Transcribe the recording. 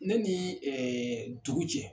Ne ni dugu cɛ.